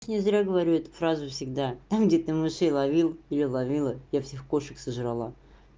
не зря говорю эту фразу всегда там где ты мышей ловил или ловила я всех кошек сожрала